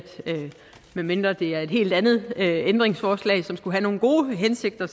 medmindre det er et helt andet ændringsforslag som skulle have nogle gode hensigter